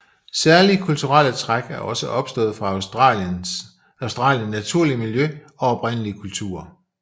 Særlige kulturelle træk er også opstået fra Australien naturlige miljø og oprindelige kulturer